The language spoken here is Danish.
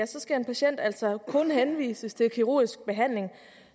skal en patient altså kun henvises til kirurgisk behandling